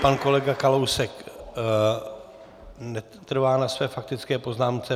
Pan kolega Kalousek netrvá na své faktické poznámce.